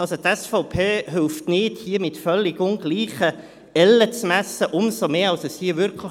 Also, die SVP hilft nicht, hier mit völlig ungleichen Ellen zu messen, umso mehr als es hier wirklich